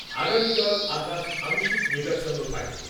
আগামীকাল আকাশ আংশিক মেঘাচ্ছন্ন থাকবে।